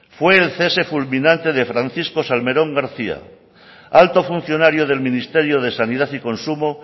fue el cese fulminante de francisco salmerón garcía alto funcionario del ministerio de sanidad y consumo